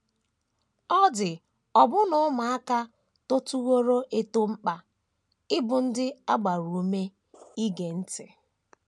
Ọ dị ọbụna ụmụaka totụworo eto mkpa ịbụ ndị a gbara ume ige ntị.